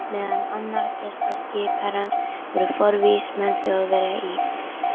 Meðal annarra gesta skipherrans voru forvígismenn Þjóðverja í